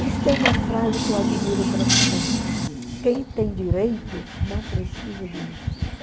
Eles têm uma frase que eu admiro profundamente, quem tem direito não precisa de justiça.